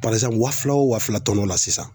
Barisa wa fila o wa fila tɔnɔ la sisan